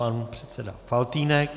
Pan předseda Faltýnek.